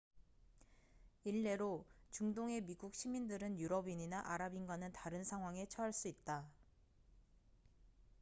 일례로 중동의 미국 시민들은 유럽인이나 아랍인과는 다른 상황에 처할 수 있다